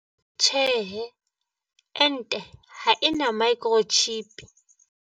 Potso- Na ke nnete hore ente e na le microchip, e etsang hore ho bonahale moo motho a yang?